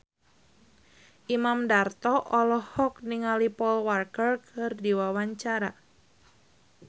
Imam Darto olohok ningali Paul Walker keur diwawancara